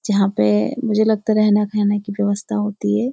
जहां पे ए मुझे लगता है रहना खाना की व्यवस्था होती है।